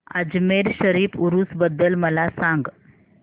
अजमेर शरीफ उरूस बद्दल मला सांग